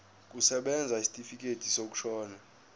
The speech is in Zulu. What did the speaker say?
kusebenza isitifikedi sokushona